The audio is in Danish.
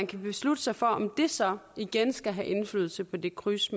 kan beslutte sig for om det så igen skal have indflydelse på det kryds